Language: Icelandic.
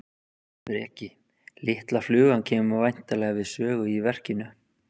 Breki: Litla flugan kemur væntanlega við sögu í, í verkinu?